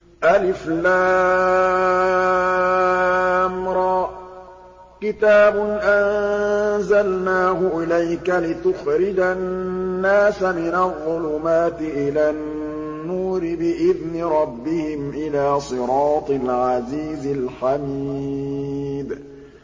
الر ۚ كِتَابٌ أَنزَلْنَاهُ إِلَيْكَ لِتُخْرِجَ النَّاسَ مِنَ الظُّلُمَاتِ إِلَى النُّورِ بِإِذْنِ رَبِّهِمْ إِلَىٰ صِرَاطِ الْعَزِيزِ الْحَمِيدِ